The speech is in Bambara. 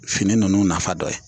Fini ninnu nafa dɔ ye